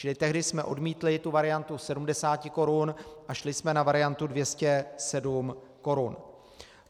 Čili tehdy jsme odmítli tu variantu 70 korun a šli jsme na variantu 207 korun.